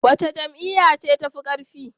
Wace Jam'iyya ce tafi karfi?